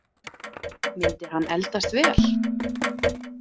Myndi hann eldast vel?